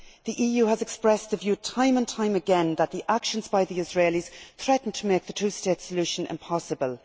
The EU has expressed the view time and time again that the actions by the Israelis threaten to make the two state solution impossible.